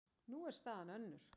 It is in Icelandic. Nú er staðan önnur.